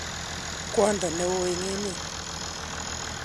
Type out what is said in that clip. kwondo ne o eng emet.